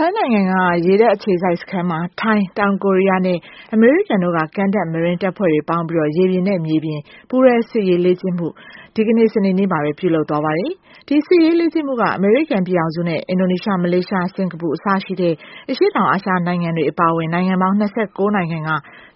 ိုင်းနိုင်ငံက ရေတပ်အခြေစိုက်စခန်းမှာ ထိုင်း၊ တောင်ကိုရီးယားနဲ့ အမေရိကန်တို့က ကမ်းတက် marine တပ်ဖွဲ့တွေပေါင်းပြီး ရေပြင်နဲ့မြေပြင် ပူးတွဲစစ်ရေးလေ့ကျင့်မှုအခု ဒီကနေ့ စနေနေ့ကပဲ ပြုလုပ်သွားပါတယ်။ ဒီစစ်ရေးလေ့ကျင့်မှုက အမေရိကန်ပြည်ထောင်စုနဲ့ Indonesia, Malaysia, Singapore အစရှိတဲ့ အရှေ့တောင် အာရှနိုင်ငံတွေ အပါအဝင် နိုင်ငံပေါင်း ၂၉ နိုင်ငံက